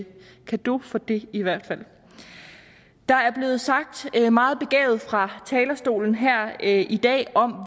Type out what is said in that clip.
cadeau for det i hvert fald der er blevet sagt meget begavet fra talerstolen her i dag om